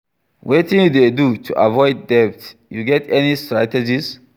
Wetin you dey do to avoid debt, you get any strategies?